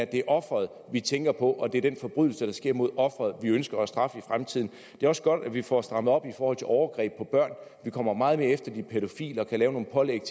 det er offeret vi tænker på og det er den forbrydelse der sker mod offeret vi ønsker at straffe i fremtiden det er også godt at vi får strammet op over for overgreb på børn vi kommer meget mere efter de pædofile og kan lave nogle pålæg